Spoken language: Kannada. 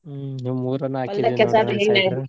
ಮೂರ್ .